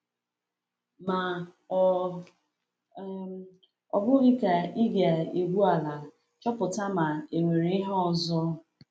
Ma ọ̀ um bụghị ka ị ga-egwu ala chọpụta ma e nwere ihe ọzọ?